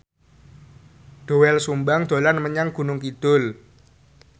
Doel Sumbang dolan menyang Gunung Kidul